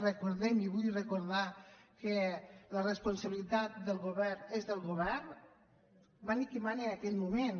recordem i vull recordar que la responsabilitat del govern és del govern mani qui mani en aquell moment